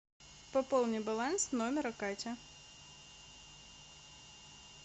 пополни баланс номера кати